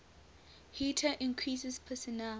heater increases personal